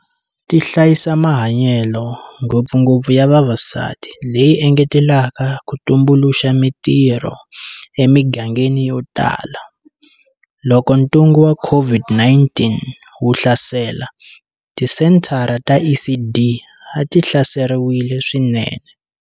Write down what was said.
Ti hlayisa mahanyelo, ngopfungopfu ya vavasati, leyi engetelaka ku tumbuluxa mitirho emigangeni yotala. Loko ntungu wa COVID-19 wu hlasela, tisenthara ta ECD a tihlaseriwile swinene.